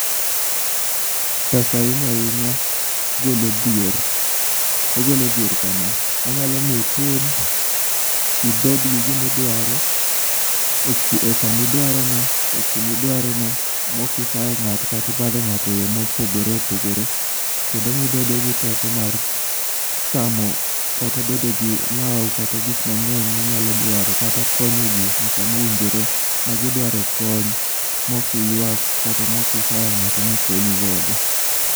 Pesa ahinya ahinya golo dhier. Ogolo dhier kama. Onyalo mi itim. Ibed gi gima idwaro e samidware no ekuma idware no mokisayo ng'ato katibadho kato eyo mopogore opogore. Kendo omiyiibedo teko mar chamo kata bedo gi lawo kata gik mang'eny minyalo dwaro kata konyo ji e samowinjore magidrawo e kony mok iywak kata moksayo ng'ato mokonyigodo.